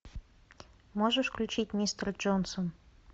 можешь включить мистер джонсон